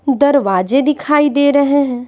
दरवाजे दिखाई दे रहे हैं।